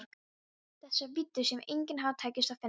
Þessar víddir sem engum hafði tekist að finna.